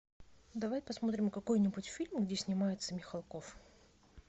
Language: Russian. давай посмотрим какой нибудь фильм где снимается михалков